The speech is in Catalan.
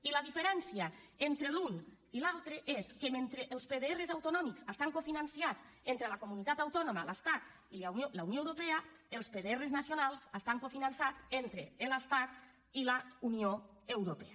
i la diferència entre l’un i l’altre és que mentre els pdr autonòmics estan cofinançats entre la comunitat autònoma l’estat i la unió europea els pdr nacionals estan cofinançats entre l’estat i la unió europea